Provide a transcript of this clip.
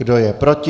Kdo je proti?